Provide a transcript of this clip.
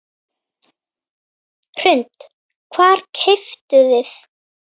Hrund: Hvað keyptuð þið?